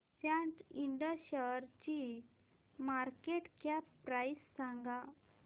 सॅट इंड शेअरची market cap price सांगा